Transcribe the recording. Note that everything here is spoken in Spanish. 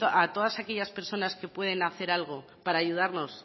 a todas aquellas personas que puedan hacer algo en